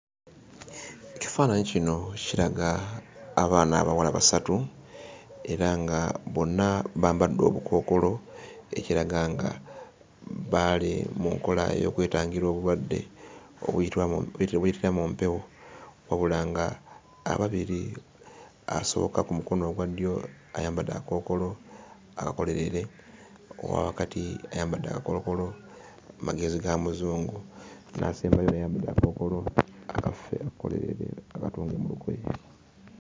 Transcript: Ekifaananyi kino kiraga abaana abawala basatu era nga bonna bambadde obukookolo ekiraga nga baali mu nkola y'okwetangira obulwadde obuyitira mu,,, obuyitira mu mpewo , wabula ng'ababiri, asooka ku mukono ogwa ddyo ayambadde akakookolo akakolerere owa wakati ayambadde akakookolo magezi ga muzungu, n'asembayo naye ayambadde akakookolo akaffe akakolerere akatungwa mu lugoye.